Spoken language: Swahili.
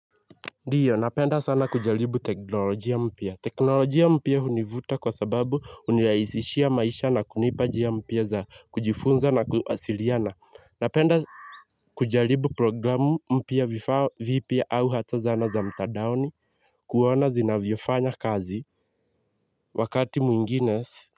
Ndio napenda sana kujaribu teknolojia mpya. Teknolojia mpya hunivuta kwa sababu hunirahisishia maisha na kunipa njia mpya za kujifunza na kuwasiliana. Napenda kujaribu programu mpya vipya au hata zana za mtandaoni kuona zinavyofanya kazi wakati mwingine.